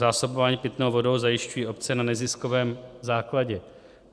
Zásobování pitnou vodnou zajišťují obce na neziskovém základě.